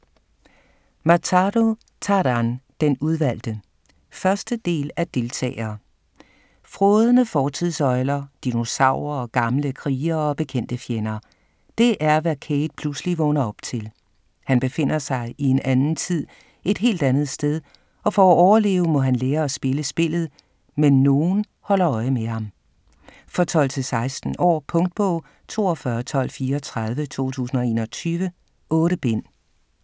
Matharu, Taran: Den udvalgte 1. del af Deltager. Frådende fortidsøgler, dinosaurer, gamle krigere og bekendte fjender. Det er, hvad Cade pludselig vågner op til. Han befinder sig i en anden tid, et helt andet sted, og for at overleve må han lære at spille spillet, men nogen holder øje med ham. For 12-16 år. Punktbog 421234 2021. 8 bind.